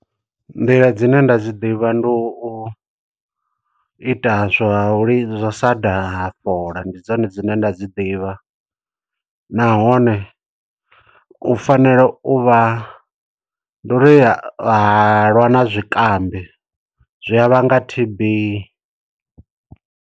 Nḓila dzine nda dzi ḓivha ndi u ita zwa u li, zwa u sa daha fola. Ndi dzone dzine nda dzi ḓivha. Nahone u fanela u vha, ndi uri halwa na zwikambi zwi a vhanga T_B.